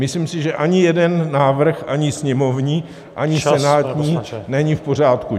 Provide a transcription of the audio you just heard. Myslím si, že ani jeden návrh, ani sněmovní, ani senátní , není v pořádku.